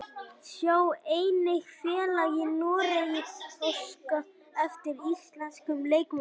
Sjá einnig: Félag í Noregi óskar eftir íslenskum leikmönnum